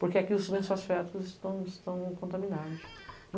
Porque aqui os lençóis feáticos estão contaminados.